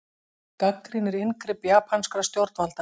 Gagnrýnir inngrip japanskra stjórnvalda